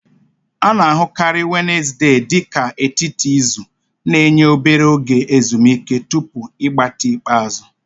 A na-ahụkarị Wenezde dị ka etiti izu, na-enye obere oge ezumike tupu ịgbatị ikpeazụ.